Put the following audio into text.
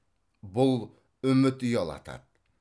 бұл үміт ұялатады